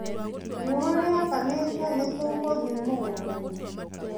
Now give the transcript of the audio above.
Riũa rĩakana nĩtũgũthĩ mũgũndainĩ.